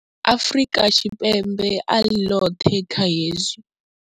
Afrika Tshipembe a ḽi ḽoṱhe kha hezwi.